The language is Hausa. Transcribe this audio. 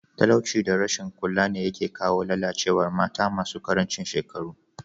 Talauci da rashin kula ne yake kawo lalacewar mata masu karancin shekaru.